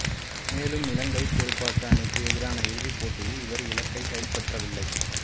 மேலும் இலங்கைத் துடுப்பாட்ட அணிக்கு எதிரான இறுதிப்போட்டியில் இவர் இலக்கினைக் கைப்பற்றவில்லை